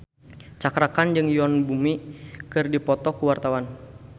Cakra Khan jeung Yoon Bomi keur dipoto ku wartawan